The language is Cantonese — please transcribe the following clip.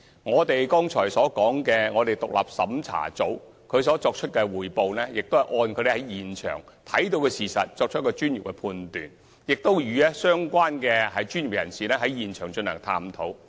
我剛才所說的獨立審查組的匯報，是有關人員在現場視察後作出的專業判斷，他們亦曾與相關專業人士在現場進行探討。